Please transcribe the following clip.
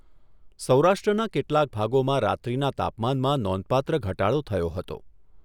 સૌરાષ્ટ્રના કેટલાંક ભાગોમાં રાત્રિના તાપમાનમાં નોંધપાત્ર ઘટાડો થયો હતો.